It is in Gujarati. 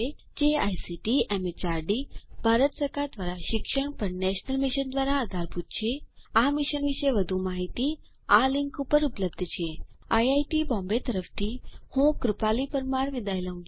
જે આઇસીટી એમએચઆરડી ભારત સરકાર દ્વારા શિક્ષણ પર નેશનલ મિશન દ્વારા આધારભૂત છે આ મિશન વિશે વધુ માહીતી આ લીંક ઉપર ઉપલબ્ધ છે160 spoken hyphen tutorial dot org slash NMEICT hyphen intro IIT Bombay તરફથી ભાષાંતર કરનાર હું કૃપાલી પરમાર વિદાય લઉં છું